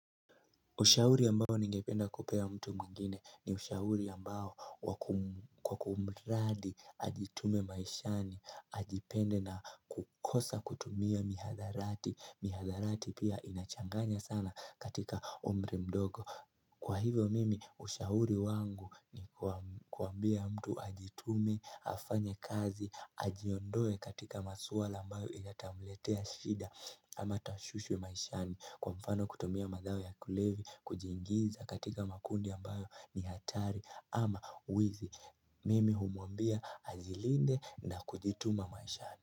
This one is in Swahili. Ushauri ambao ningependa kupea mtu mwingine ni ushauri ambao kwa kumradhi ajitume maishani, ajipende na kukosa kutumia mihadarati, mihadarati pia inachanganya sana katika umri mdogo. Kwa hivyo mimi ushauri wangu ni kuambia mtu ajitume, afanye kazi, ajiondoe katika masuala ambayo ile yatamletea shida ama tashwishi wa maishani. Kwa mfano kutumia madawa ya kulevya, kujiingiza katika makundi ambayo ni hatari ama wizi mimi humwambia ajilinde na kujituma maishani.